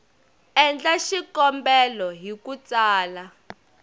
endla xikombelo hi ku tsala